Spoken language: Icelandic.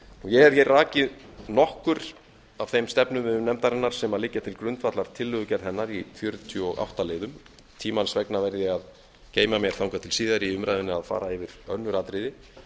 ég hef hér rakið nokkur af þeim stefnumiðum nefndarinnar sem liggja til grundvallar tillögugerð hennar í fjörutíu og átta liðum tímans vegna verð ég að geyma mér þangað til síðar í umræðunni að fara yfir önnur atriði